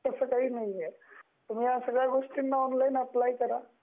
आता तस काही नाही आहे, या सगळ्या गोष्टींना ऑनलाइन अप्लाय करा